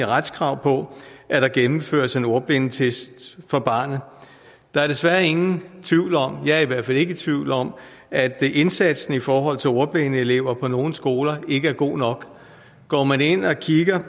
retskrav på at der gennemføres en ordblindetest for barnet der er desværre ingen tvivl om det er jeg i hvert fald ikke i tvivl om at indsatsen i forhold til ordblinde elever på nogle skoler ikke er god nok går man ind og kigger